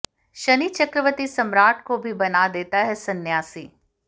शनि चक्रवती सम्राट को भी बना देता है संन्यासी